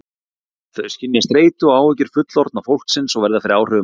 Þau skynja streitu og áhyggjur fullorðna fólksins og verða fyrir áhrifum af því.